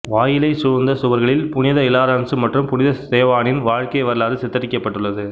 வாயிலைச் சூழ்ந்த சுவர்களில் புனித இலாரன்சு மற்றும் புனித ஸ்தேவானின் வாழ்க்கை வரலாறு சித்தரிக்கப்பட்டுள்ளது